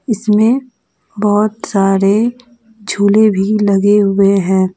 इसमें बहोत सारे झूले भी लगे हुए हैं।